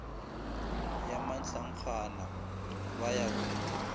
ya mahlankgana ba ya go